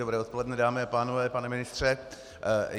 Dobré odpoledne, dámy a pánové, pane ministře.